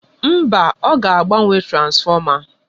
Mba, aga agbanwe transfọma.